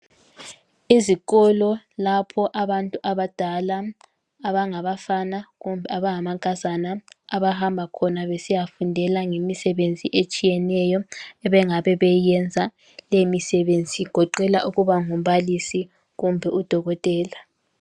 Izikolo lapho abantu abadala abangabafana kumbe abangamankazana abahamba khona besiyafundela ngemisebenzi etshiyeneyo, abangabe beyiyenza. Leyo misebenzi igoqela ukuba ngumbalisi kumbe udokotela.